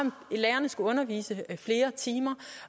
lærerne skulle undervise i flere timer